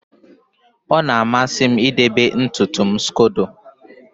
ọ na-amasị m idebe ntutu m scodo